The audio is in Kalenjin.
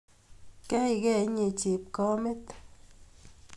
Keikei inye chepkamet